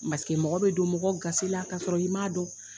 Masakɛ mɔgɔ bɛ don mɔgɔ gasila ka'a sɔrɔ i m' dɔn.